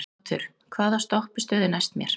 Otur, hvaða stoppistöð er næst mér?